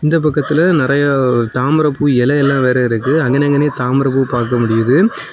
இந்த பக்கத்துல நறைய தாமரை பூ இலை எல்லாம் வேற இருக்குஅங்க நின்னுன்னே தாமரை பூ பாக்க முடியுது.